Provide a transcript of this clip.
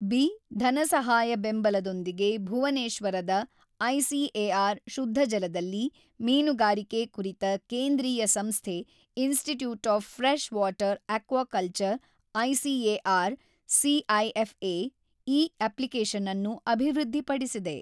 B ಧನಸಹಾಯ ಬೆಂಬಲದೊಂದಿಗೆ ಭುವನೇಶ್ವರದ ಐಸಿಎಆರ್ ಶುದ್ಧಜಲದಲ್ಲಿ ಮೀನುಗಾರಿಕೆ ಕುರಿತ ಕೇಂದ್ರೀಯ ಸಂಸ್ಥೆ institute of fresh water aquaculture ICAR CIFA ಈ ಅಪ್ಲಿಕೇಶನ್ ಅನ್ನು ಅಭಿವೃದ್ಧಿಪಡಿಸಿದೆ.